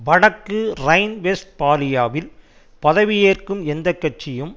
வடக்கு ரைன்வெஸ்ட்பாலியாவில் பதவி ஏற்கும் எந்த கட்சியும்